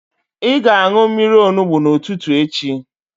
Ị ga-aṅụ mmiri onugbu n'ụtụtụ echi.